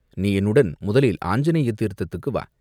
நீ என்னுடன் முதலில் ஆஞ்சநேய தீர்த்தத்துக்கு வா!